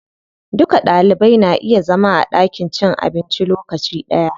Duka Ɗalibai na iya zama a ɗakin cin abinci lokaci ɗaya.